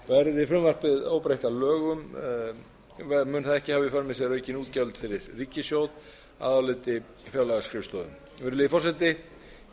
verði frumvarpið óbreytt að lögum mun það ekki hafa í för með sér aukin útgjöld fyrir ríkissjóð að áliti fjárlagaskrifstofunnar virðulegi forseti